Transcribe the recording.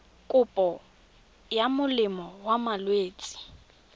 kopo ya molemo wa malwetse